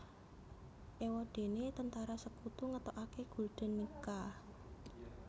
Éwadéné Tentara Sekutu ngetokaké Gulden Nica